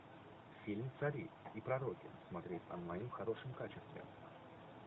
фильм цари и пророки смотреть онлайн в хорошем качестве